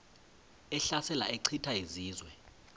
ehlasela echitha izizwe